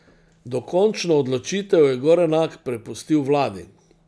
Dokončno odločitev je Gorenak prepustil vladi.